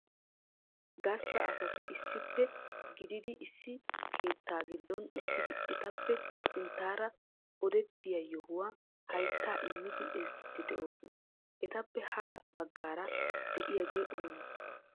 Gastta asati issippe gididi issi keettaa giddon uttidi etappe sinttaara odettiyaa yohuwayyo hayttaa immidi ezggiidi de'oosona. Etappe ha baggaara de'iyaage oonee?